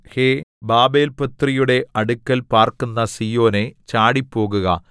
ഹേ ബാബേൽപുത്രിയുടെ അടുക്കൽ പാർക്കുന്ന സീയോനേ ചാടിപ്പോകുക